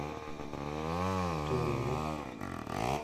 тулуну